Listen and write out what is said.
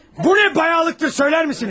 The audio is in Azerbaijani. Bu nə bayağılıqdır, söylərsinizmi?